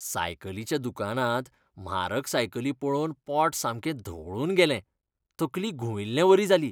सायकलीच्या दुकानांत म्हारग सायकली पळोवन पोट सामकें धवळून गेलें, तकली घुंविल्लें वरी जाली.